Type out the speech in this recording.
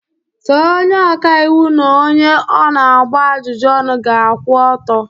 Sọ onye ọka iwu n'onye ọ na-agba ajụjụ ọnụ ga-akwụ ọtọ.